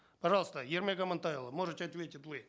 пожалуйста ермек амантайұлы можете ответить вы